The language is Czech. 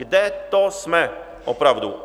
Kde to jsme opravdu?